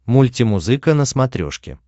мультимузыка на смотрешке